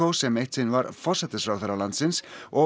sem eitt sinn var forsætisráðherra landsins og